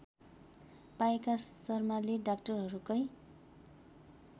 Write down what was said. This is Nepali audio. पाएका शर्माले डाक्टरहरूकै